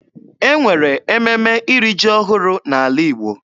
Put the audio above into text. E nwere ememe iri ji ọhụrụ n'ala Igbo.